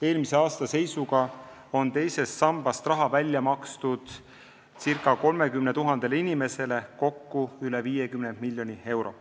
Eelmise aasta seisuga on teisest sambast raha välja makstud ca 30 000 inimesele, kokku üle 50 miljoni euro.